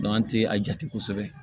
an tɛ a jate kosɛbɛ